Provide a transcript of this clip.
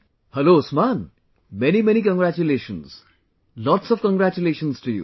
Hello Usman, Many many congratulations, lots of congratulations to you